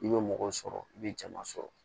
I bɛ mɔgɔw sɔrɔ i bɛ jama sɔrɔ